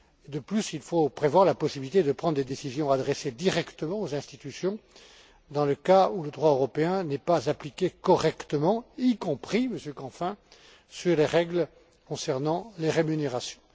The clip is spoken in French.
De plus, il faut prévoir la possibilité de prendre des décisions adressées directement aux institutions, dans le cas où le droit européen n'est pas appliqué correctement, y compris, Monsieur Canfin, sur les règles concernant les rémunérations.